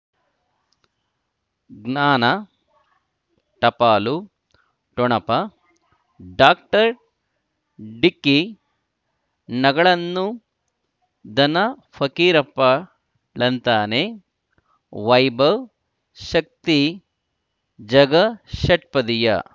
ಜ್ಞಾನ ಟಪಾಲು ಠೊಣಪ ಡಾಕ್ಟರ್ ಢಿಕ್ಕಿ ಣಗಳನ್ನು ಧನ ಫಕೀರಪ್ಪ ಳಂತಾನೆ ವೈಭವ್ ಶಕ್ತಿ ಝಗಾ ಷಟ್ಪದಿಯ